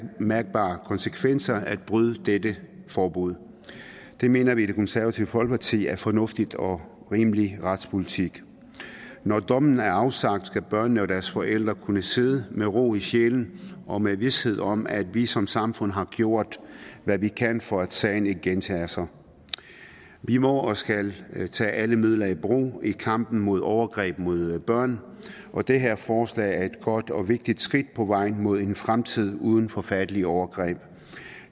mærkbare konsekvenser at bryde dette forbud det mener vi i det konservative folkeparti er fornuftig og rimelig retspolitik når dommen er afsagt skal børnene og deres forældre kunne sidde med ro i sjælen og med vished om at vi som samfund har gjort hvad vi kan for at sagen ikke gentager sig vi må og skal tage alle midler i brug i kampen mod overgreb mod børn og det her forslag er et godt og vigtigt skridt på vejen mod en fremtid uden forfærdelige overgreb